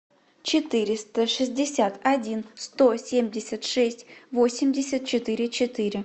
четыреста шестьдесят один сто семьдесят шесть восемьдесят четыре четыре